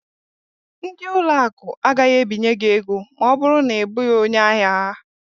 Ndị ụlọ akụ agaghị ebinye gị ego ma ọ bụrụ na ị bụghị onye ahia ha.